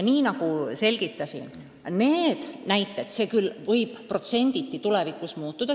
Nagu ma selgitasin, need protsendid võivad tulevikus muutuda.